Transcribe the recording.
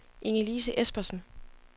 Ingelise Espersen